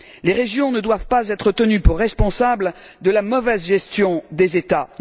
Les régions ne doivent pas être tenues pour responsables de la mauvaise gestion des États.